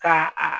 Ka a